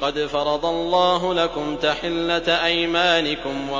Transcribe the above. قَدْ فَرَضَ اللَّهُ لَكُمْ تَحِلَّةَ أَيْمَانِكُمْ ۚ